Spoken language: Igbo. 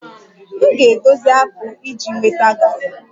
M ga-edozi akpụ iji nweta garri